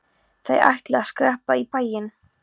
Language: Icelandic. Þær ætli að skreppa í bæinn.